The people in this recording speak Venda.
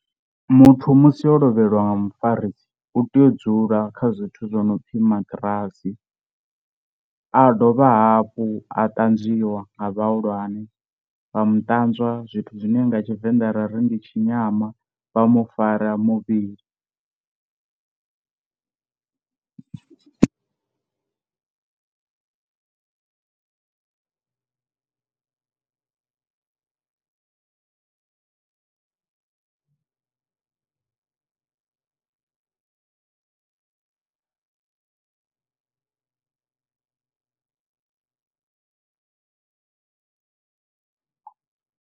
Muthu musi o lovheliwa nga mufarisi u tea u dzula kha zwithu zwo no pfhi maṱirasi a dovha hafhu a ṱanzwiwa nga vhahulwane, vha mu ṱanzwa zwithu zwine nga tshivenda rari ndi tshi nyama vha mufara muvhili.